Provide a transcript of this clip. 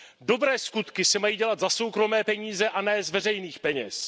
Dobré skutky se mají dělat za soukromé peníze a ne z veřejných peněz.